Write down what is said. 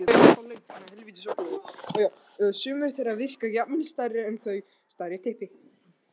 Sumir þeirra virka jafnvel stærri en þau.